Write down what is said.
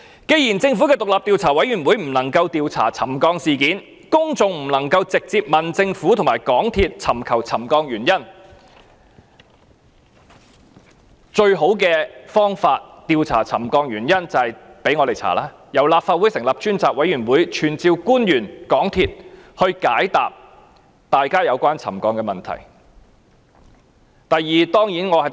既然政府的獨立調查委員會不能調查沉降事件，公眾不能夠直接向政府和港鐵公司尋求沉降原因，調查沉降問題的最好方法便是由立法會進行調查，由立法會成立專責委員會傳召官員和港鐵公司高層，解答大家有關沉降的問題。